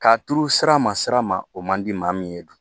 K'a turu sira ma sira ma o man di maa min ye